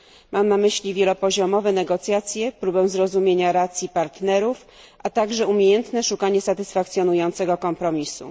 Mam na myśli wielopoziomowe negocjacje, próbę zrozumienia racji partnerów, a także umiejętne szukanie satysfakcjonującego kompromisu.